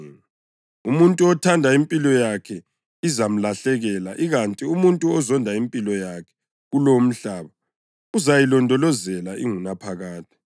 Umuntu othanda impilo yakhe izamlahlekela ikanti umuntu ozonda impilo yakhe kulo umhlaba uzayilondolozela ingunaphakade.